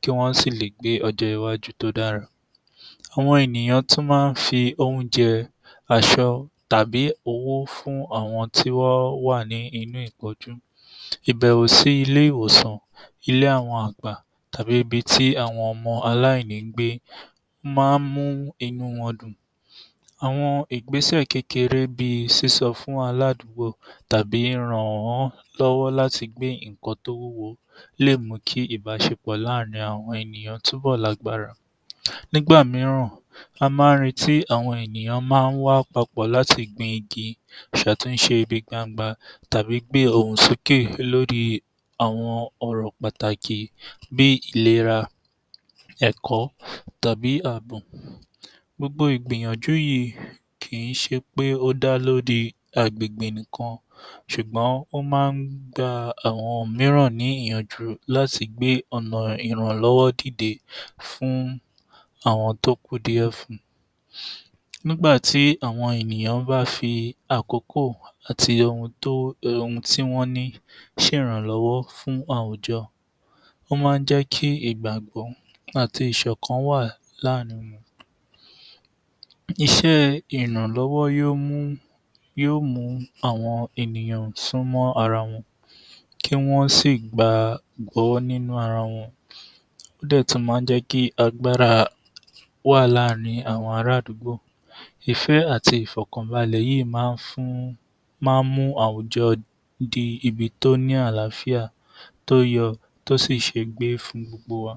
kí wọ́n sì lè gbé ọjọ́ iwájú tó dára. Àwọn ènìyàn tún máa ń fi oúnjẹ, aṣọ tàbí owó fún àwọn tó bá wà nínú ìpọ́njú. Ìbẹ̀wò sí ilé-ìwòsàn, ilé àwọn àgbà tàbíh ibi tí àwọn ọmọ aláìní ń gbé máa ń mú inú wọn dùn. Àwọn ìgbésẹ̀ kékeré bí i sísọ fún aládùgbó tàbí ràn án lọ́wọ́ láti gbé nǹkan tó wúwo lè mú kí ìbáṣepọ̀ láàrin àwọn ènìyàn túbọ̀ dára. Nígbà mìíràn, wọ́n máa ń retí, àwọn ènìyàn máa ń wá papọ̀ láti gbin igi, ṣàtúnṣe ibi gbangba tàbí gbé ohùn sókè lórí àwọn ọ̀rọ̀ pàtàkì bí ìlera, ẹ̀kọ́ tàbí àbò. Gbogbo ìgbìyànjú yìí kì í ṣe pé ó dá lórí agbègbè nìkan ṣùgbọ́n ó máa ń gba àwọn mìíràn ní ìyànjú láti gbé ọ̀nà ìrànlọ́wọ́ dìde fún àwọn tó kù díẹ̀ fún. Nígbà tí àwọn ènìyàn bá fi àkókò àti ohun tó tí wọ́n ní ṣe ìrànlọ́wọ́ fún àwùjọ. Ó máa ń jẹ́ kí ìgbàgbọ́ àti ìṣọ̀kan wà láàrin. iṣẹ́ ìrànlọ́wọ́ yóò mú àwọn ènìyàn súnmọ́ ara wọn kí wọ́n sì gbàgbọ́ nínú ara wọn, ó dẹ̀ tún máa ń jẹ́ kí agbára wà láàrin àwọn ara àdúgbò. Ìfẹ́ àti ìfọ̀kànbalẹ̀ yìí máa ń fún máa ń mú àwùjọ dé ibi tó ní àláfíà tó yẹ tó sì ṣe é gbé fún gbogbo wa.